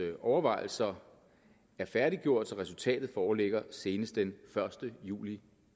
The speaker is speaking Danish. overvejelser er færdiggjort så resultatet foreligger senest den første juli